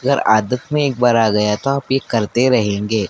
अगर आदत में एक बार आ गया तो आप ये करते रहेंगे।